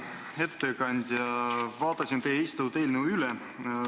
Hea ettekandja, vaatasin teie esitatud eelnõu üle.